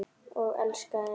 Og elskaði heitt.